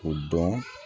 O dɔn